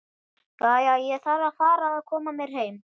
Jæja, ég þarf að fara að koma mér heim